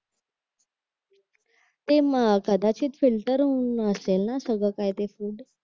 ते कदाचित ते फिल्टर होऊन असेल ना सगळं काही ते फ्रुट